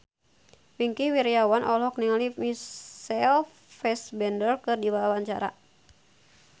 Wingky Wiryawan olohok ningali Michael Fassbender keur diwawancara